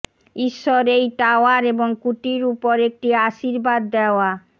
ঈশ্বর এই টাওয়ার এবং কুটির উপর একটি আশীর্বাদ দেওয়া